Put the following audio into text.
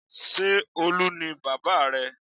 Ṣé Olu ni bábà rẹ?